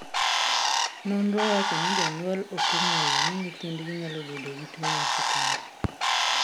Nonro wachoni jonyuol okong'eyo ni nyithdgi nyalo bedo gi tuo mar sukari.